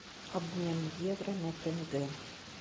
обмен евро на тенге